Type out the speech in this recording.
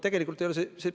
Tegelikult nii ei olnud.